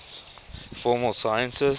formal sciences